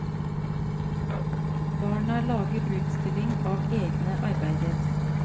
Barna lager utstilling av egne arbeider.